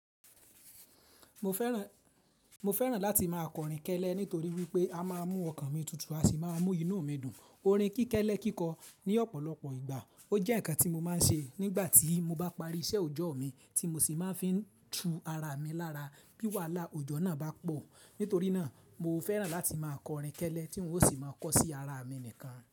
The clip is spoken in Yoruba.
Mo fẹ́ràn láti máa kọ orin kẹ́lẹ́ nítorí wípé a máa mú ọkàn mi tutù, a sì máa mú inú mi dùn. Orin kíkẹ́lẹ́ kíkọ ní ọ̀pọ̀lọpọ̀ ìgbà ó jẹ́ ǹkan tí mo máa ń ṣe nígbà tí mo bá parí iṣẹ́ òjọ́ mi tí mo sì máa ń fi tú ara mi lára bí wàhálà òjọ́ náà bá pọ̀. Nítorí náà mo fẹ́ràn láti máa kọ orin kẹ́lẹ́ tí n ó sì máa kọ sí ara mi nìkan.